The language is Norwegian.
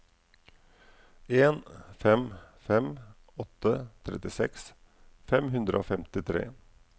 en fem fem åtte trettiseks fem hundre og femtitre